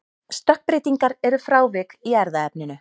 stökkbreytingar eru frávik í erfðaefninu